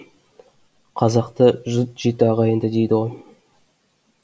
қазақта жұт жеті ағайынды дейді ғой